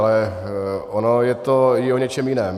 Ale ono je to i o něčem jiném.